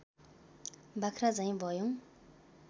बाख्रा झैँ भयौ